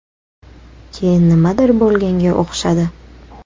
Keyin nimadir bo‘lganga o‘xshadi.